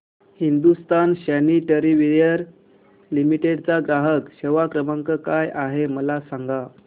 Hindustan sanitaryware limited चा ग्राहक सेवा क्रमांक काय आहे मला सांगा